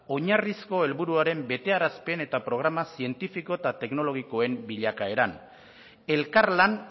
oinarrizko helburuaren betearazpen eta programa zientifiko eta teknologikoen bilakaera elkarlan